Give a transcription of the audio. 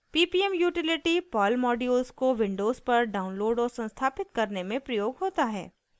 ppm utilty perl modules को Windows पर download और संस्थापित करने में प्रयोग होता है